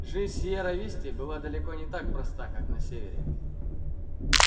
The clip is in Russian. жизнь в сиерра висте была далеко не так проста как на севере